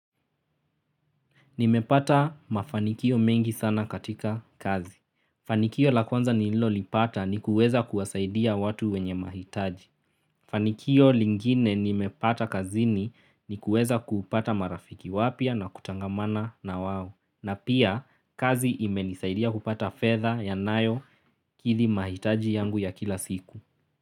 Nimepata mafanikio mengi sana katika kazi. Fanikio la kwanza nililolipata ni kuweza kuwasaidia watu wenye mahitaji. Fanikio lingine nimepata kazini ni kuweza kupata marafiki wapya na kutangamana na wao. Na pia kazi imenisaidia kupata fedha yanayokithi mahitaji yangu ya kila siku.